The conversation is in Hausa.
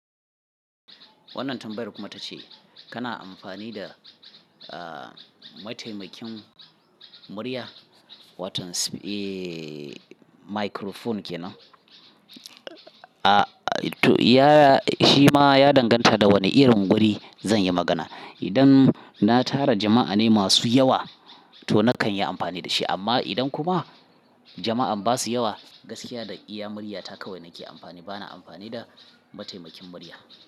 Wannan tambayar kuma ta ce kana amfani da, ah, mataimakin murya, watan sip-- eh, microphone ke nan? Ah, to ya-- shi ma ya danganta da wane irin guri zan yi magana. Idan na tara jama'a ne masu yawa, to nakan yi amfani da shi. Amma idan kuma jama'an ba su yawa, gaskiya da iya murya ta kawai nake amfani. Bana amfani da mataimakin murya.